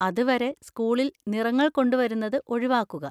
അതുവരെ സ്കൂളിൽ നിറങ്ങൾ കൊണ്ടുവരുന്നത് ഒഴിവാക്കുക.